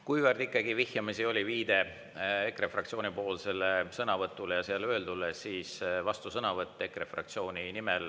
Kuivõrd ikkagi vihjamisi oli viide EKRE fraktsiooni sõnavõtule ja seal öeldule, siis vastusõnavõtt EKRE fraktsiooni nimel.